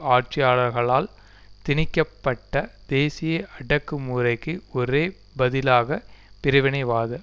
ஆட்சியாளர்களால் திணிக்க பட்ட தேசிய அடக்கு முறைக்கு ஒரே பதிலாக பிரிவினைவாத